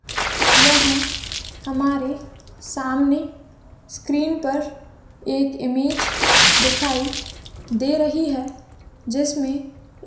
यहा हमारे सामने स्क्रीन पर एक इमेज दिखाई दे रही है। जिसमे एक--